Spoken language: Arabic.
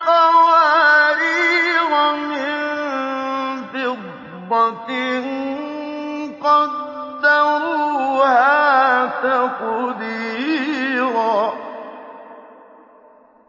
قَوَارِيرَ مِن فِضَّةٍ قَدَّرُوهَا تَقْدِيرًا